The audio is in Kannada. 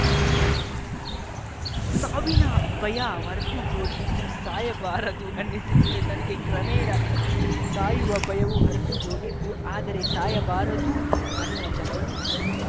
ಸಾವಿನ ಭಯ ಹೊರಟು ಹೋಗಿತ್ತು ಸಾಯಬಾರದು ಅನ್ನಿಸಿತ್ತು ನನಗೆ ಕ್ರಮೇಣ ಸಾಯುವ ಭಯವು ಹೊರಟು ಹೋಗಿತ್ತು ಆದರೆ ಸಾಯಬಾರದು ಅನ್ನುವ ಛಲವೂ ಇತ್ತು